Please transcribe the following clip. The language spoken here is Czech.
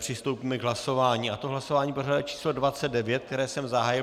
Přistoupíme k hlasování, a to hlasování pořadové číslo 29, které jsem zahájil.